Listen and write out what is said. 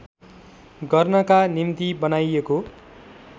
गर्नका निम्ति बनाइएको